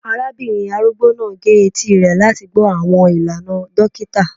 Arabinrin arugbo naa ge eti rẹ lati gbọ awọn ilana dokita